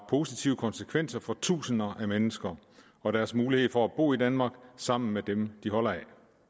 positive konsekvenser for tusinder af mennesker og deres mulighed for at bo i danmark sammen med dem de holder af